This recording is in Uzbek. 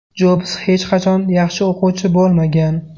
Jobs hech qachon yaxshi o‘quvchi bo‘lmagan.